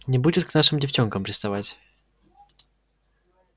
не будет к нашим девчонкам приставать